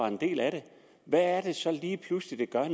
en del af det hvad er det så der lige pludselig